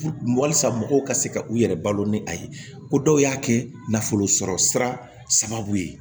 Walisa mɔgɔw ka se ka u yɛrɛ balo ni a ye ko dɔw y'a kɛ nafolo sɔrɔ sira sababu ye